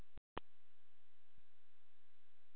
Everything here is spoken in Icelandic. Þórhildur: Er Menningarnótt svona alltaf afmælið ykkar?